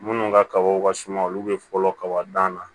Minnu ka kabaw ka suma olu bɛ fɔlɔ kaba dan na